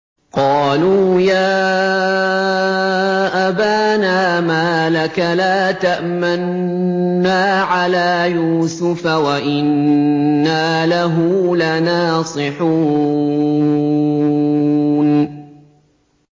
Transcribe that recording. قَالُوا يَا أَبَانَا مَا لَكَ لَا تَأْمَنَّا عَلَىٰ يُوسُفَ وَإِنَّا لَهُ لَنَاصِحُونَ